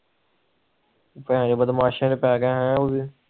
ਕਲਾ ਬਦਮਾਸ਼ ਪੈਗਿਆ ਹੈ ਉਹ ਵੀ